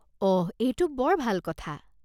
অহ, এইটো বৰ ভাল কথা।